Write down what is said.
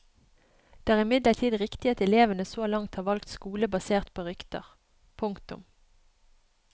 Det er imidlertid riktig at elevene så langt har valgt skole basert på rykter. punktum